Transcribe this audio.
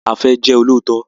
A fẹ jẹ olóòótọ?